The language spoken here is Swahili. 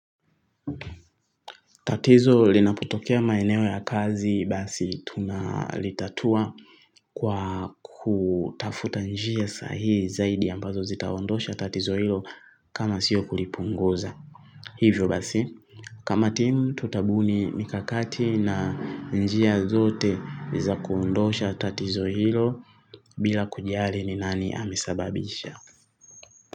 Tatizo linapotokea maeneo ya kazi basi tunalitatua kwa kutafuta njia sahihi zaidi ambazo zitaondosha tatizo hilo kama sio kulipunguza. Hivyo basi. Kama timu tutabuni mikakati na njia zote zakuondosha tatizo hilo bila kujali ni nani amesababisha.